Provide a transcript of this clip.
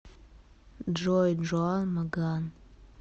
джой джуан маган